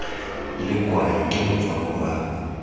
le kwae ke motswako wa